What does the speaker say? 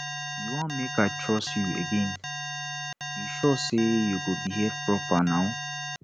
you wan make i trust you again you sure say you go behave proper now